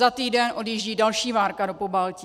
Za týden odjíždí další várka do Pobaltí.